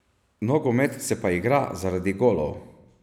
Nogomet se pa igra zaradi golov.